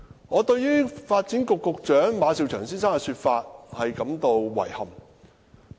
我對發展局局長馬紹祥先生的說法感到遺憾。